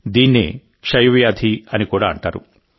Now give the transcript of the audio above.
దీన్నే క్షయవ్యాధి అని కూడా అంటారు